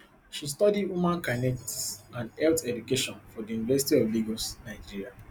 she study human kinetics and health education for di university of lagos nigeria